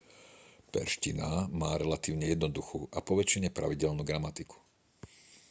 perzština má relatívne jednoduchú a poväčšine pravidelnú gramatiku